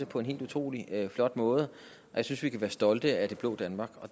på en helt utrolig flot måde og jeg synes vi kan være stolte af det blå danmark